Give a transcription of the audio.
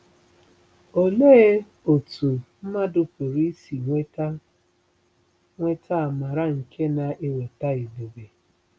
Olee otú mmadụ pụrụ isi nweta nweta amara nke na-eweta ebube?